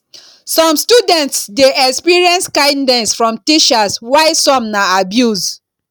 some students de experience kindness from teachers while some na abuse